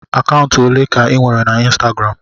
Akaụntụ olee ka ị nwere na Ịnstagram?